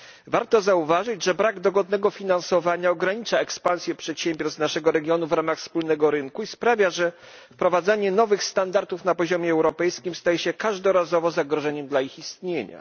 Warto zauważyć, że brak dogodnego finansowania ogranicza ekspansję przedsiębiorstw naszego regionu w ramach wspólnego rynku i sprawia, że wprowadzanie nowych standardów na poziomie europejskim staje się każdorazowo zagrożeniem dla ich istnienia.